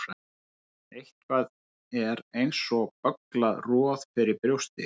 Eitthvað er eins og bögglað roð fyrir brjósti